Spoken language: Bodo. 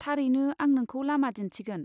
थारैनो, आं नोंखौ लामा दिन्थिगोन।